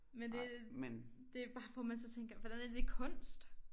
Men det det bare for man så tænker hvordan er det kunst?